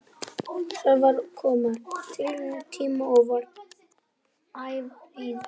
Sævar kom á tilsettum tíma og var ævareiður.